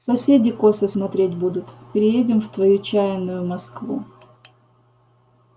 соседи косо смотреть будут переедем в твою чаянную москву